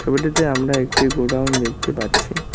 ওটিতে আমরা একটি গোডাউন দেখতে পাচ্ছি।